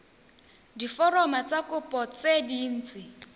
diforomo tsa kopo tse dint